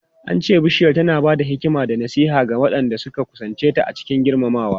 An ce Bishiyar tana ba da hikima da nasiha ga waɗanda suka kusance ta cikin girmamawa.